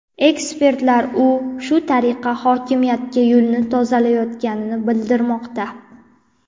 Ekspertlar u shu tariqa hokimiyatga yo‘lni tozalayotganini bildirmoqda.